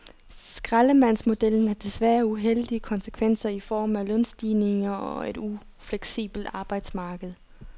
Skraldemandsmodellen har desværre uheldige konsekvenser i form af lønstigninger og et ufleksibelt arbejdsmarked.